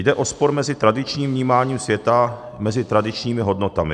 Jde o spor mezi tradičním vnímáním světa, mezi tradičními hodnotami.